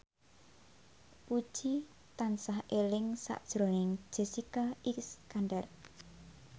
Puji tansah eling sakjroning Jessica Iskandar